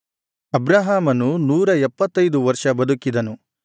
ಅಬ್ರಹಾಮನು ನೂರ ಎಪ್ಪತ್ತೈದು ವರ್ಷ ಬದುಕಿದನು